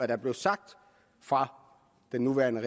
der blev sagt fra den nuværende